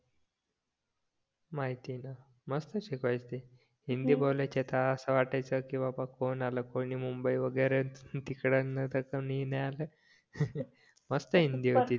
माहितीये ना मस्त शिकवायचे ते हिंदी बोलायच्या तर असं वाटायचं की बाबा कोण आलं कोणी मुंबई वगैरेच की मस्त हिंदी होती